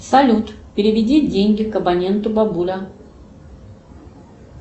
салют переведи деньги к абоненту бабуля